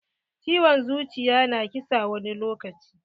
Ciwon zuciya na ƙisa wani lokaci.